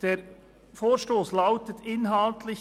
Der Vorstoss lautet inhaltlich: